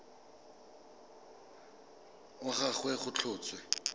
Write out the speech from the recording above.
wa ga gagwe go tlhotswe